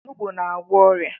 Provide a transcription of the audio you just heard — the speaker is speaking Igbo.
Onugbu na-agwọ ọrịa.